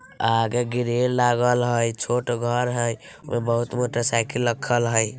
आगे ग्रिल लागल हई छोटा घर हई उमे बहुत मोटर साइकिल रखल हई।